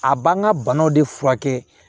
A b'an ka banaw de furakɛ